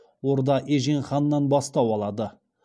орда ежен ханнан бастау алады